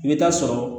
I bɛ taa sɔrɔ